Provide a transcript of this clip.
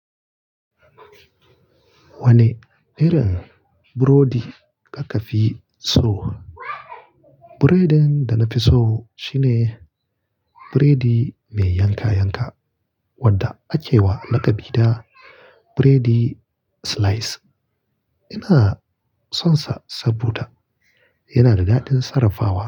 Wane irin burodi ka ka fi so? Biredin da na fi so shine biredi mai yanka yanka wadda ake wa lakabi da "biredi slice". Ina sonsa saboda yana da dadin sarrafawa.